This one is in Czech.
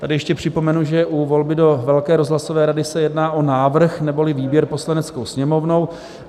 Tady ještě připomenu, že u volby do velké rozhlasové rady se jedná o návrh, neboli výběr Poslaneckou sněmovnou.